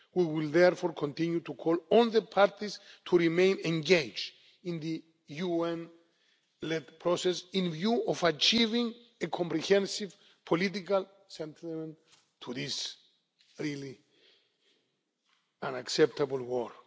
We will therefore continue to call on the parties to remain engaged in the UN led process in view of achieving a comprehensive political settlement to this really unacceptable